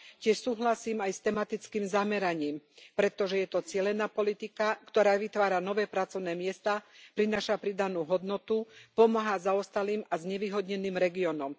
Tiež súhlasím aj s tematickým zameraním, pretože je to cielená politika, ktorá vytvára nové pracovné miesta, prináša pridanú hodnotu, pomáha zaostalým a znevýhodneným regiónom.